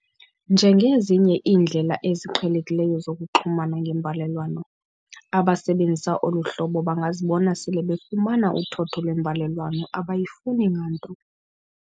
Njengezinye iindlela eziqhelekileyo zokuxhumana ngembalelwano, abasebenzisa olu hlobo bangazibona sele befumana uthotho lwembalelwano abayifuni nganto.